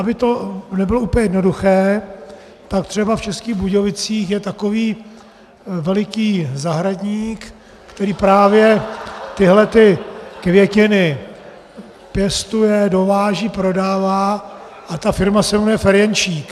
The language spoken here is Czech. Aby to nebylo úplně jednoduché, tak třeba v Českých Budějovicích je takový veliký zahradník , který právě tyhle květiny pěstuje, dováží, prodává, a ta firma se jmenuje Ferjenčík.